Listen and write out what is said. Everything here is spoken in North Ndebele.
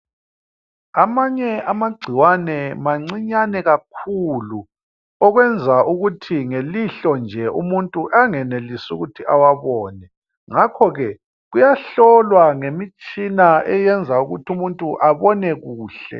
Amanye amagcikwane mancinyane kakhulu okwenza ukuthi ngelihlo nje umuntu angenelisi ukuthi awabone ngakho ke kuyahlolwa ngemitshina eyenza ukuthi umuntu abone kuhle.